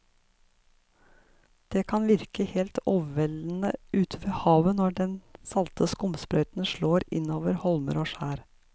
Det kan virke helt overveldende ute ved havet når den salte skumsprøyten slår innover holmer og skjær.